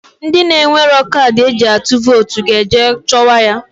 Ndị na-enwero kadị e ji atụ votu ga-eje chọwa ya.